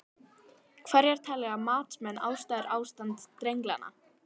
Hverjar telja matsmenn vera ástæður ástands drenlagnanna?